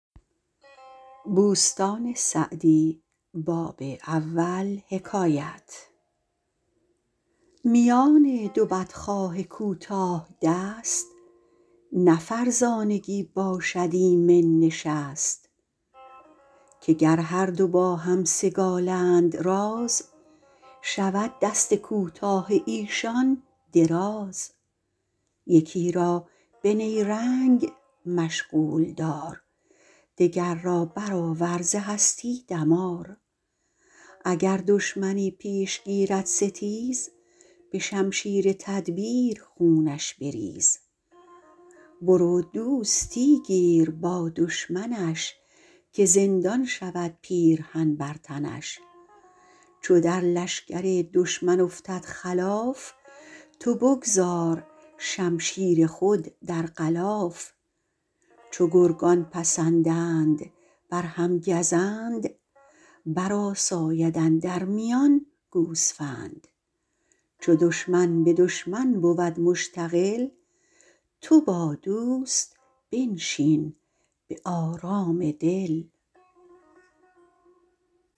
میان دو بدخواه کوتاه دست نه فرزانگی باشد ایمن نشست که گر هر دو باهم سگالند راز شود دست کوتاه ایشان دراز یکی را به نیرنگ مشغول دار دگر را برآور ز هستی دمار اگر دشمنی پیش گیرد ستیز به شمشیر تدبیر خونش بریز برو دوستی گیر با دشمنش که زندان شود پیرهن بر تنش چو در لشکر دشمن افتد خلاف تو بگذار شمشیر خود در غلاف چو گرگان پسندند بر هم گزند بر آساید اندر میان گوسفند چو دشمن به دشمن بود مشتغل تو با دوست بنشین به آرام دل